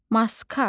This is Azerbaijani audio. Maska.